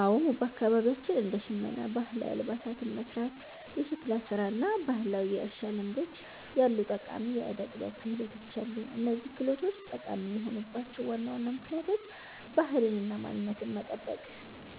አዎ፣ በአካባቢያችን እንደ ሸመና (ባህላዊ አልባሳትን መሥራት)፣ የሸክላ ሥራ እና ባህላዊ የእርሻ ልምዶች ያሉ ጠቃሚ የዕደ-ጥበብ ክህሎቶች አሉ። እነዚህ ክህሎቶች ጠቃሚ የሆኑባቸው ዋና ዋና ምክንያቶች፦ ባህልንና ማንነትን መጠበቅ፦